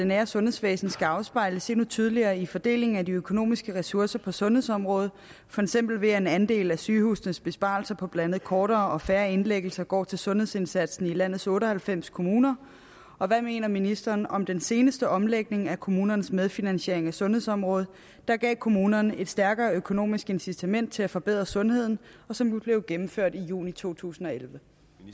nære sundhedsvæsen skal afspejles endnu tydeligere i fordelingen af de økonomiske ressourcer på sundhedsområdet for eksempel ved at en andel af sygehusenes besparelser på blandt andet kortere og færre indlæggelser går til sundhedsindsatsen i landets otte og halvfems kommuner og hvad mener ministeren om den seneste omlægning af kommunernes medfinansiering af sundhedsområdet der gav kommunerne et stærkere økonomisk incitament til at forbedre sundheden og som blev gennemført i juni 2011